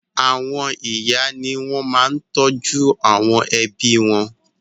Àwọn ìyá ni wọ́n máa ń tọ́jú àwọn ẹbí wọn.